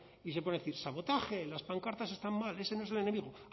y se pone a decir sabotaje las pancartas están mal ese no es el enemigo